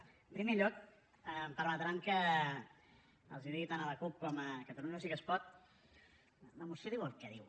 en primer lloc em permetran que els digui tant a la cup com a catalunya sí que es pot la moció diu el que diu